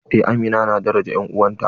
Eh amina na daraja en'uwanta.